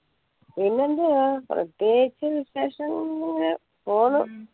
പിന്നെന്തുവാ പ്രതേകിച്ചു ഇങ്ങനെ പോന്നു